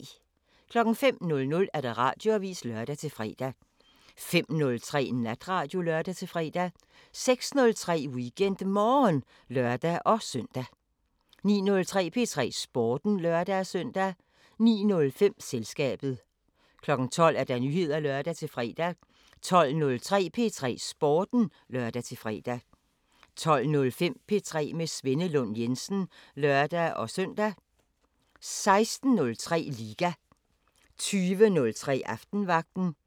05:00: Radioavisen (lør-fre) 05:03: Natradio (lør-fre) 06:03: WeekendMorgen (lør-søn) 09:03: P3 Sporten (lør-søn) 09:05: Selskabet 12:00: Nyheder (lør-fre) 12:03: P3 Sporten (lør-fre) 12:05: P3 med Svenne Lund Jensen (lør-søn) 16:03: Liga 20:03: Aftenvagten